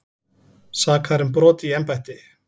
Sakaðir um brot í embætti